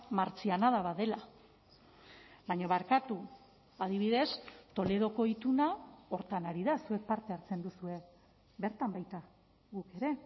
martzianada bat dela baina barkatu adibidez toledoko ituna horretan ari da zuek parte hartzen duzue bertan baita guk ere